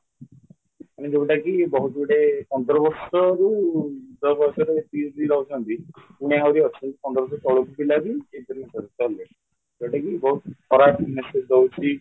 ମାନେ ଯୋଉଟାକି ବାହୁତଗୋଟେ ପନ୍ଦର ବର୍ଷରୁ ଯେତିକି ହେତିକି ରହୁଛନ୍ତି ପୁଣି ଆହୁରି ଅଛନ୍ତି ପନ୍ଦରସହ ଶୋହଳସହ ପିଲାବି interview ସାରିଲାଣି ଯୋଉଟାକି ବହୁତ ଖରାପ message ଦଉଛି